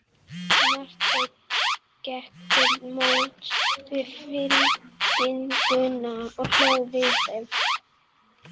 Marteinn gekk til móts við fylkinguna og hló við þeim.